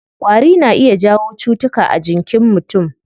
Ƙwari na iya jawo cutuka a jinkin mutum.